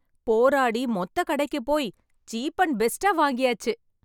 போராடி மொத்த கடைக்கு போய் சீப் அண்ட் பெஸ்ட்டா வாங்கியாச்சு.